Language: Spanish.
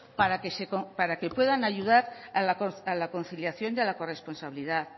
para que puedan ayudar a la conciliación y a la corresponsabilidad